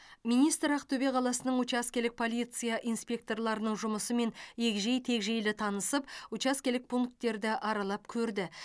министр ақтөбе қаласының учаскелік полиция инспекторларының жұмысымен егжей тегжейлі танысып учаскелік пункттерді аралап көрді